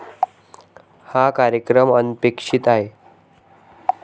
हा कार्यक्रम अनपेक्षित नाही.